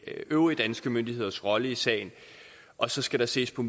øvrige danske myndigheders rolle i sagen og så skal der ses på